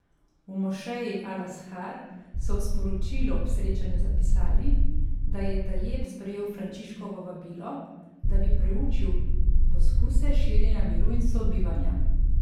V mošeji Al Azhar so v sporočilu ob srečanju zapisali, da je Tajeb sprejel Frančiškovo vabilo, da bi preučil poskuse širjenja miru in sobivanja.